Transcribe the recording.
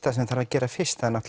það sem þarf að gera fyrst